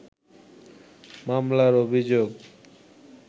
মামলার অভিযোগ